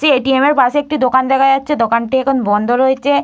টি ATM. পাশে একটি দোকান দেখা যাচ্ছে দোকানটি এখন বন্ধ রয়েছে।